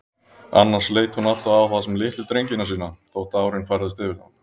Annars leit hún alltaf á þá sem litlu drengina sína, þótt árin færðust yfir þá.